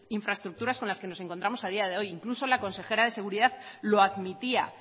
infraestructuras con las que nos encontramos a día de hoy incluso la consejera de seguridad lo admitía